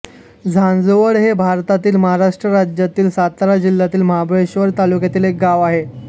झांझवड हे भारतातील महाराष्ट्र राज्यातील सातारा जिल्ह्यातील महाबळेश्वर तालुक्यातील एक गाव आहे